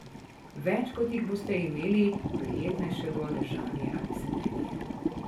Več kot jih boste imeli, prijetnejše bo ležanje ali sedenje.